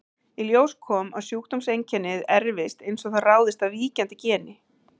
Í ljós kom að sjúkdómseinkennið erfist eins og það ráðist af víkjandi geni.